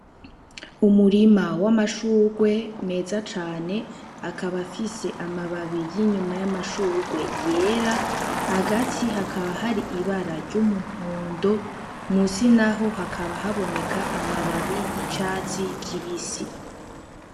Umurima w'amashugwe meza cane, akaba afise amababi y'inyuma y'amashugwe yera, hagati hakaba hari ibara ry'umuhondo, musi naho hakaba haboneka amababi y'icatsi kibisi.